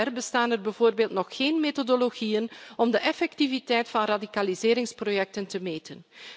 Tot dusver bestaan er bijvoorbeeld nog geen methodologieën om de effectiviteit van radicaliseringsprojecten te meten.